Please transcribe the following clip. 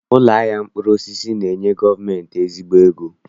Ụlọ ahịa mkpụrụosisi na-enye gọọmentị ezigbo ego